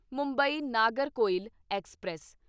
Mumbai Nagercoil express